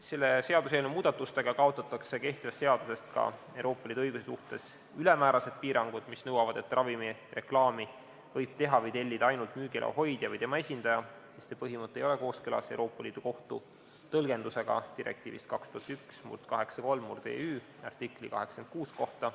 Selle seaduseelnõu muudatustega kaotatakse kehtivast seadusest ka Euroopa Liidu õiguse suhtes ülemäärased piirangud, mis nõuavad, et ravimireklaami võib teha või tellida ainult müügiloa hoidja või tema esindaja, sest see põhimõte ei ole kooskõlas Euroopa Liidu kohtu tõlgendusega direktiivist 2001/83/EÜ artikli 86 kohta.